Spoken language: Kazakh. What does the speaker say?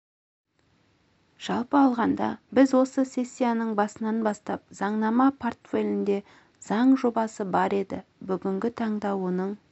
жалпы алғанда біз осы сессияның басынан бастап заңнама портфелінде заң жобасы бар еді бүгінгі таңда оның